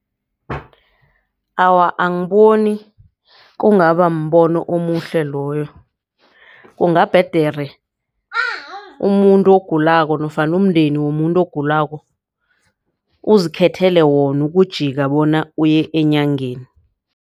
Awa, angiboni kungaba mbono omuhle loyo kungabhedere umuntu ogulako nofana umndeni womuntu ogulako uzikhethela wona ukujika bona uye enyangeni.